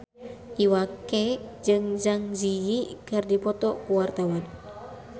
Iwa K jeung Zang Zi Yi keur dipoto ku wartawan